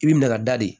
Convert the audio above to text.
I bi minɛ ka da de